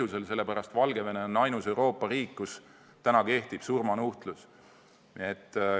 See on nii sellepärast, et Valgevene on ainus Euroopa riik, kus kehtib surmanuhtlus.